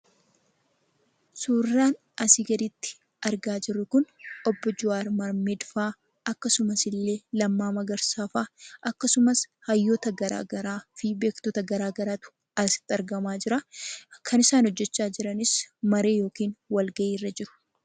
Suuraan asii gaditti argaa jirru, kun suuraa obbo Jawaar Mohammedfaa akkasumasillee Lammaa Magarsaafaa akkasumas hayyoota garagaraa fi beektota garagaraat asitti argamaa jira. Kan isaan hojjachaa jiranis marii yookaan wal gahiirra jiru.